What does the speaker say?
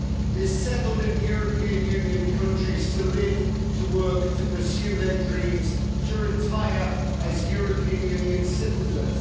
They settled in European Union countries to live, to work, to pursue their dreams, to retire, as European Union citizens.